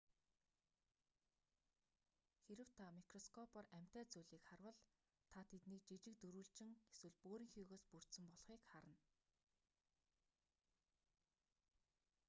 харав та микроскопоор амьтай зүйлийг харвал та тэдийг жижиг дөрвөлжин эсвэл бөөрөнхийгөөс бүрдсэн болхыг харна